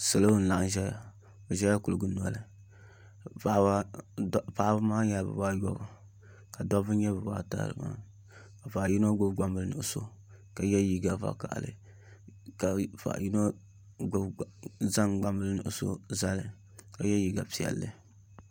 Salo n laɣam ʒɛya bi ʒɛla kuligi noli paɣaba maa nyɛla bibayobu ka dabba nyɛ bibata ka paɣa yino gbubi gbambili nuɣso ka yɛ liiga vakaɣali ka paɣa yino zaŋ gbambili nuɣso zali ka yɛ liiga piɛlli